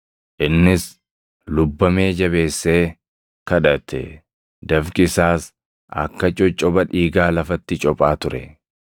Innis lubbamee jabeessee kadhate; dafqi isaas akka coccopha dhiigaa lafatti cophaa ture.